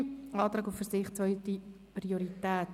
Antrag auf Verzicht auf zweite Priorität.